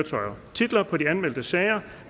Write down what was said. titler på de anmeldte sager